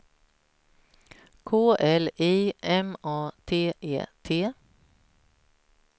K L I M A T E T